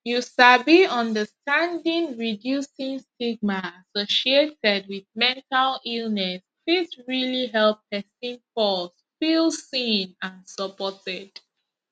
you sabi understanding reducing stigma associated wit mental illness fit realli help pesin pause feel seen and supported